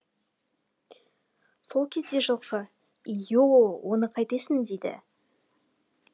сол кезде жылқы ииииооооо оны қайтесің дейді